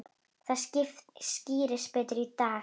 Það skýrist betur í dag.